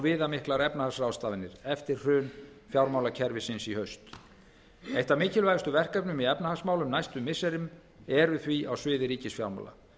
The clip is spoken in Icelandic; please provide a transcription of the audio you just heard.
viðamiklar efnahagsráðstafanir eftir hrun fjármálakerfisins í haust eitt af mikilvægustu verkefnum í efnahagsmálum næstu missirin eru því á sviði ríkisfjármála